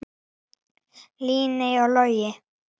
Líney og Logi.